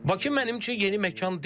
Bakı mənim üçün yeni məkan deyil.